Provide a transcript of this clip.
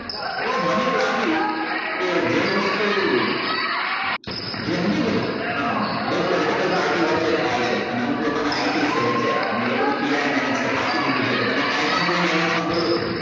એટલે મને એવું લાગ્યું કે જે વસ્તુ જે મળીને બે political party વચ્ચે થાય છે અને અમુક લોકોને ITfild છે અને એ લોકોને PRmanage કરવા આપી દીધું છે એટલે તમે કાંઈ પણ કરીને બોલો